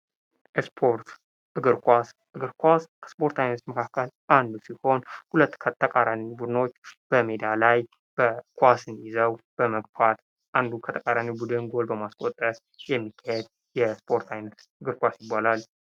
ስፖርት እግር ኳስ እግር ኳስ ከስፖርት አይነቶች መካከል አንዱ ሲሆን ሁለት ከተቃራኒ ቡድኖች በሜዳ ላይ ኳስን ይዘው በመግፋት አንዱን ከተቃራኒው ቡድን ጎል በማስቆጠር የሚከሄድ የስፖርት አይነት እግር ኳስ ይባላል።